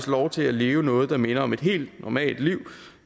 lov til at leve noget der nærmest minder om et helt normalt liv